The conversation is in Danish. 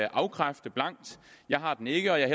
afkræfte jeg har den ikke og jeg